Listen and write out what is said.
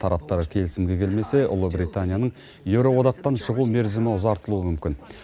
тараптар келісімге келмесе ұлыбританияның еуроодақтан шығу мерзімі ұзартылуы мүмкін